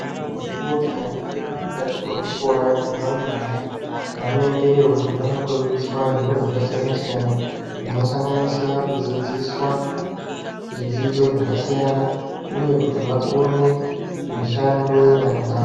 ...mweni mukuwo tikaningira mukati mwezvikora zvevarumbwana vanoendeyo kuti vanofundiswa zviro zvakasiyana-siyana. Zvinosanganisira kudzidziswa zvidzidzo zvakasiyana uye kuti vakone mishando yenyara dzavo.